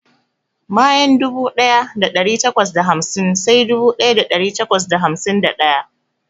Bayan dubu ɗaya da ɗari takwas da hamsin sai dubu ɗaya da ɗari takwas da hamsin da ɗaya.